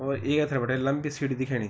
और ये एथर बिटै लंबी सीढी दिखेणि।